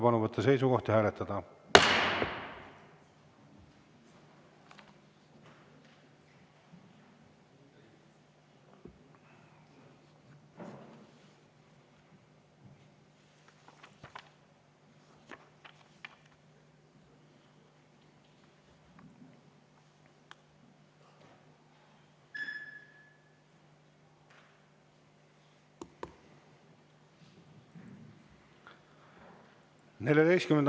Palun võtta seisukoht ja hääletada!